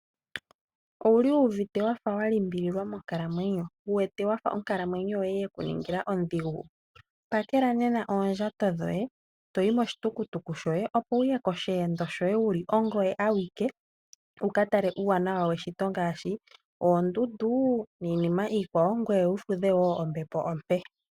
Owuli wuwete wafa wa limbililwa monkalamwenyo? Wuwete wafa onkalamwenyo yoye yeku ningila ondhigu? Pakela nena oondjato dhoye, eto yi moshitukutuku shoye, etoyi mosheendo shoye wuli ongoye awike wu ka tale uuwanawa weshito ngaashi oondundu niinima wo iikwawo, ngoye wu fudhe wo ombepo ompe.